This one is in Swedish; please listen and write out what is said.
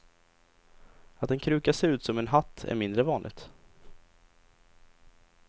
Att en kruka ser ut som en hatt är mindre vanligt.